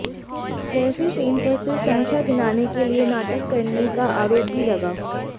केसी सेन पर सिर्फ़ संख्या गिनाने के लिए नाटक करने का आरोप भी लगा